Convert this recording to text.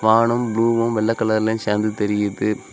வானம் புளுவும் வெள்ள கலர்லயும் சேர்ந்து தெரியுது.